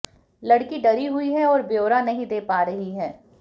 लड़की डरी हुई है और ब्योरा नहीं दे पा रही है